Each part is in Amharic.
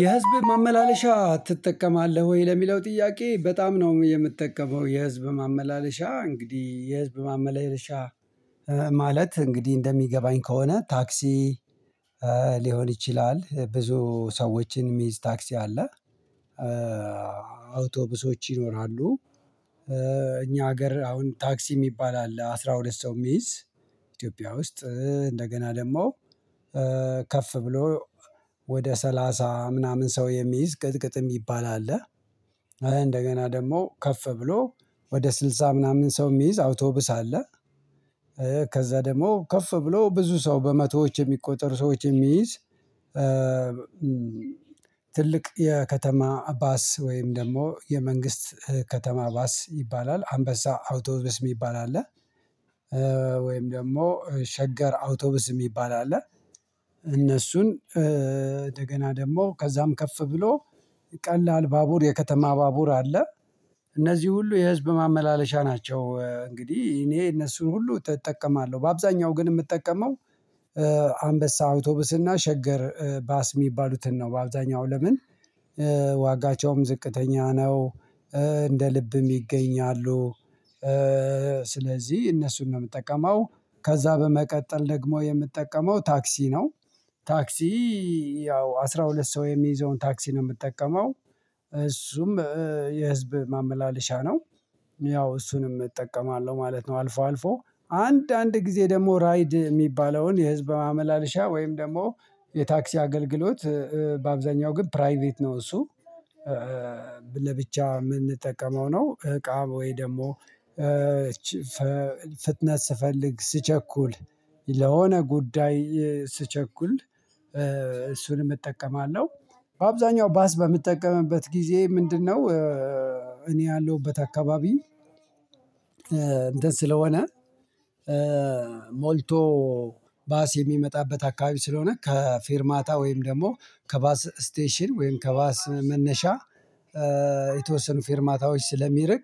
የህዝብ ማመላለሻ ትጠቀማለህ ወይ? ለሚለው ጥያቄ በጣም ነው የምትጠቀመው። የህዝብ ማመላለሻ እንግዲህ የህዝብ ማመላለሻ ማለት እንግዲህ እንደሚገባኝ ከሆነ ታክሲ ሊሆን ይችላል ብዙ ሰዎችን ሚዝ ታክሲ አለ፥ አውቶቡሶች ይኖራሉ እኛ ሀገር አሁን ታክሲ የሚባል አለ አስራ ሁለት ሰው ሚይዝ ኢትዮጵያ ውስጥ እንደገና ደግሞ ከፍ ብሎ ወደ ሰላሳ ምናምን ሰው የሚይዝ ቅጥቅጥ የሚባል አለ እንደገና ደግሞ ከፍ ብሎ ወደ ስልሳ ምናምን ሰው የሚይዝ አውቶብስ አለ ከዛ ደግሞ ከፍ ብሎ ብዙ ሰው በመቶዎች የሚቆጠር ሰዎች የሚይዝ ትልቅ የከተማ ባስ ወይም ደግሞ የመንግስት ከተማ ባስ ይባላል አንበሳ አውቶብስ የሚባል አለ። ወይም ደግሞ ሸገር አውቶቡስ የሚባል አለ። እነሱን እንደገና ደግሞ ከዛም ከፍ ብሎ ቀላል ባቡር፥ የከተማ ባቡር አለ። እነዚህ ሁሉ የህዝብ ማመላለሻ ናቸው። እንግዲህ እኔ እነሱን ሁሉ እጠቀማለሁ። በአብዛኛው ግን የምጠቀመው አንበሳ አውቶብስና እና ሸገር ባስ የሚባሉትን ነው። በአብዛኛው ለምን ዋጋቸውም ዝቅተኛ ነው፥ እንደ ልብም ይገኛሉ። ስለዚህ እነሱን ነው የምጠቀመው ከዛ በመቀጠል ደግሞ የምጠቀመው ታክሲ ነው። ታክሲ ያው አስራ ሁለት ሰው የሚይዘውን ታክሲ ነው የምጠቀመው። እሱም የህዝብ ማመላለሻ ነው። ያው እሱንም እጠቀማለሁ ማለት ነው። አልፎ አልፎ አንድ አንድ ጊዜ ደግሞ ራይድ የሚባለውን የህዝብ ማመላለሻ ወይም ደግሞ የታክሲ አገልግሎት በአብዛኛው ግን ፕራይቬት ነው እሱ ለብቻ የምንጠቀመው ነው። እቃም ወይ ደግሞ ፍትነት ስፈልግ ስቸኩል ለሆነ ጉዳይ ስቸኩል እሱንም እጠቀማለሁ። በአብዛኛው ባስ በምጠቀምበት ጊዜ ምንድነው እኔ ያለሁበት አካባቢ ስለሆነ ሞልቶ ባስ የሚመጣበት አከባቢ ስለሆነ ከፌርማታ ወይም ደግሞ ከባስ ስቴሽን ወይም ከባስ መነሻ የተወሰኑ ፌርማታዎች ስለሚርቅ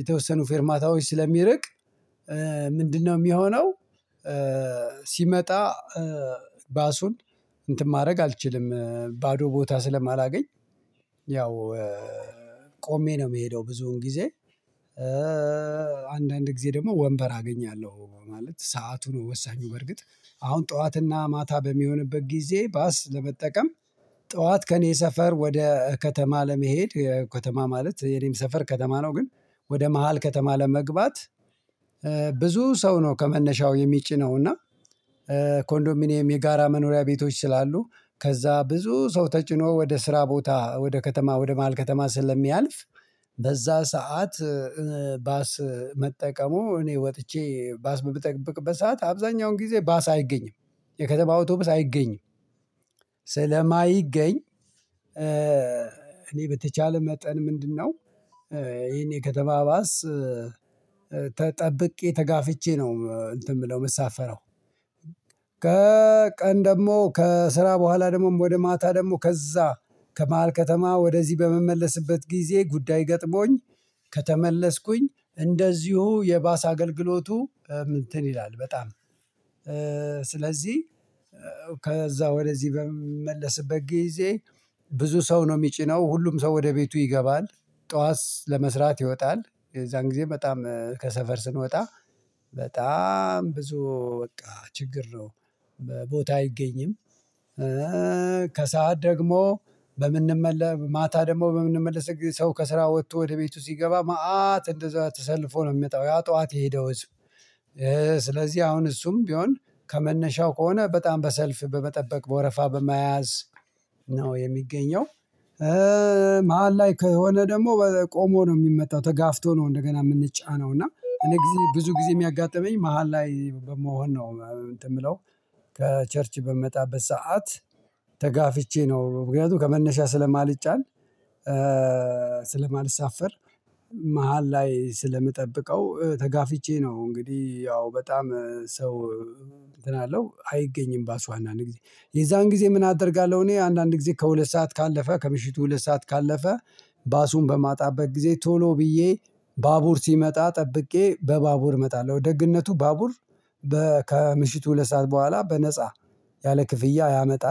የተወሰኑ ፌርማታዎች ስለሚርቅ ምንድን ነው የሚሆነው ሲመጣ ባሱን እንትን ማድረግ አልችልም ባዶ ቦታ ስለማላገኝ ያው ቆሜ ነው የምሄደው ብዙውን ጊዜ። አንዳንድ ጊዜ ደግሞ ወንበር አገኛለሁ ማለት ሰዓቱ ነው ወሳኙ በርግጥ አሁን ጠዋትና ማታ በሚሆንበት ጊዜ ባስ ለመጠቀም ጠዋት ከእኔ ሰፈር ወደ ከተማ ለመሄድ ከተማ ማለት የኔም ሰፈር ከተማ ነው ግን ወደ መሃል ከተማ ለመግባት ብዙ ሰው ነው ከመነሻው የሚጭነው። እና ኮንዶሚኒየም የጋራ መኖሪያ ቤቶች ስላሉ ከዛ ብዙ ሰው ተጭኖ ወደ ስራ ቦታ ፥ወደ ከተማ፥ ወደ ማሀል ከተማ ስለሚያልፍ በዛ ሰዓት ባስ መጠቀሙ እኔ ወጥቼ ባስ ምጠብቅበት ሰዓት አብዛኛውን ጊዜ ባስ አይገኝም። የከተማ አውቶብስ አይገኝም። ስለማይገኝ እኔ በተቻለ መጠን ምንድነው ይሄን የከተማ ባስ ጠብቄ ፥ተጋፍቼ ነው እንትን የምለው የምሳፈረው። ከቀን ደግሞ ከስራ በኋላ ደግሞ ወደ ማታ ደግሞ ከዛ ከመሃል ከተማ ወደዚህ በምመለስበት ጊዜ ጉዳይ ገጥሞኝ ከተመለስኩኝ እንደዚሁ የባስ አገልግሎቱ እንትን ይላል በጣም ስለዚህ ከዛ ወደዚህ በምመለስበት ጊዜ ብዙ ሰው ነው የሚጭነው ሁሉም ሰው ወደ ቤቱ ይገባል ጠዋት ለመስራት ይወጣል የዛን ጊዜ በጣም ከሰፈር ስንወጣ በጣም ብዙ በቃ ችግር ነው ቦታ አይገኝም ከሰአት ደግሞ በምንመለ ማታ ደግሞ በምንመለስ ጊዜ ሰው ከስራ ወቶ ወደ ቤቱ ሲገባ መአት እንደዛ ተሰልፎ ነው የሚመጣው ያ ጠዋት የሄደው ህዝብ። ስለዚህ አሁን እሱም ቢሆን ከመነሻው ከሆነ በጣም በሰልፍ በመጠበቅ በወረፋ በመያዝ ነው የሚገኘው። መሃል ላይ ከሆነ ደግሞ ቆሞ ነው የሚመጣው ተጋፍቶ ነው እንደገና የምንጫነው እና እኔ ብዙ ጊዜ የሚያጋጥመኝ መሃል ላይ በመሆን ነው እንትን የምለው ከቸርች በምመጣበት ሰዓት ተጋፍቼ ነው ምክንያቱም ከመነሻ ስለማልጫን ስለማልሳፈር መሃል ላይ ስለምጠብቀው ተጋፍቼ ነው እንግዲህ ያው በጣም ሰው እንትን አለው አይገኝም ባሱ አንዳንድ ጊዜ የዛን ጊዜ ምን አደርጋለሁ እኔ አንዳንድ ጊዜ ከሁለት ሰዓት ካለፈ ከምሽቱ ሁለት ሰዓት ካለፈ ባሱን በማጣበት ጊዜ ቶሎ ብዬ ባቡር ሲመጣ ጠብቄ በባቡር እመጣለሁ። ደግነቱ ባቡር ከምሽቱ ሁለት ሰዓት በኋላ በነፃ ያለ ክፍያ ያመጣል።